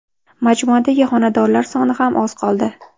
Majmuadagi xonadonlar soni ham oz qoldi!